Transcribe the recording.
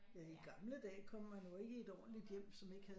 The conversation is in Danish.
Ja i gamle dage kom man jo ikke i et ordentlig hjem som ikke havde